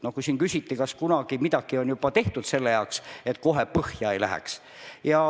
Siin küsiti, kas kunagi midagi on juba tehtud selle nimel, et kohe põhja ei läheks.